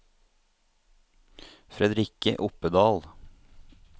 Fredrikke Oppedal